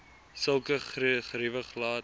sulke geriewe glad